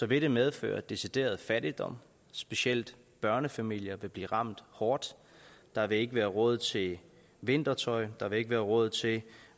vil det medføre decideret fattigdom specielt børnefamilier vil blive ramt hårdt der vil ikke være råd til vintertøj der vil ikke være råd til